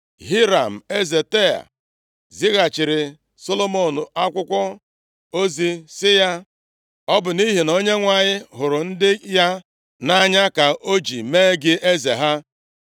Hiram, eze Taịa zighachiiri Solomọn akwụkwọ ozi sị ya. “Ọ bụ nʼihi na Onyenwe anyị hụrụ ndị ya nʼanya ka o ji mee gị eze ha.”